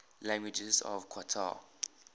languages of qatar